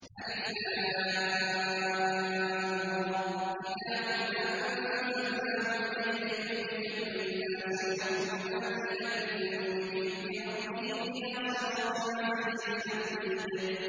الر ۚ كِتَابٌ أَنزَلْنَاهُ إِلَيْكَ لِتُخْرِجَ النَّاسَ مِنَ الظُّلُمَاتِ إِلَى النُّورِ بِإِذْنِ رَبِّهِمْ إِلَىٰ صِرَاطِ الْعَزِيزِ الْحَمِيدِ